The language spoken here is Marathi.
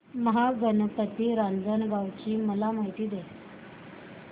महागणपती रांजणगाव ची मला माहिती दे